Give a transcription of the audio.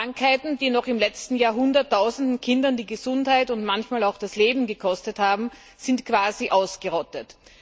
Krankheiten, die noch im letzten Jahrhundert tausende Kinder die Gesundheit und manchmal auch das Leben gekostet haben, sind quasi ausgerottet.